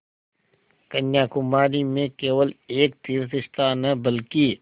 कन्याकुमारी में केवल एक तीर्थस्थान है बल्कि